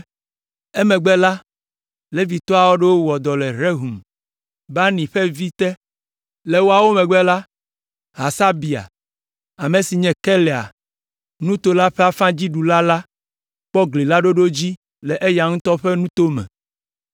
Emegbe la, Levitɔ aɖewo wɔ dɔ le Rehum, Bani ƒe vi, te. Le woawo megbe la, Hasabia, ame si nye Keila nuto la ƒe afã dziɖula la kpɔ gli la ɖoɖo dzi le eya ŋutɔ ƒe nuto me.